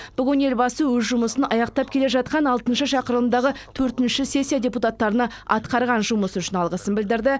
бүгін елбасы өз жұмысын аяқтап келе жатқан алтыншы шақырылымдағы төртінші сессия депутаттарына атқарған жұмысы үшін алғысын білдірді